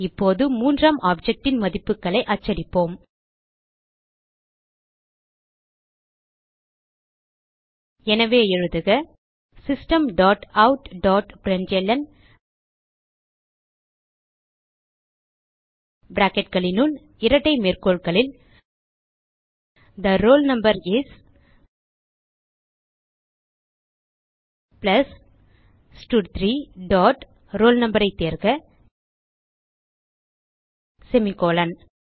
இப்போது மூன்றாம் objectன் மதிப்புகளை அச்சடிப்போம் எனவே எழுதுக system dot out dot println bracketகளினுள் இரட்டை மேற்கோள்களில் the roll no is plus ஸ்டட்3 டாட் roll no ஐ தேர்க செமிகோலன்